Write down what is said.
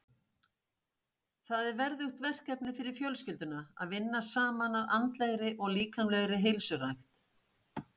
Það er verðugt verkefni fyrir fjölskylduna að vinna saman að andlegri og líkamlegri heilsurækt.